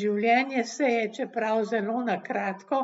Življenje se je, čeprav zelo na kratko,